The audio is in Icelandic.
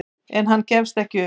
En hann gefst ekki upp.